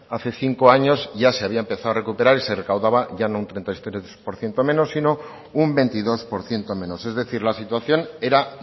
hace cinco años ya se había empezado a recuperar y se recaudaba ya no un treinta y tres por ciento menos sino un veintidós por ciento menos es decir la situación era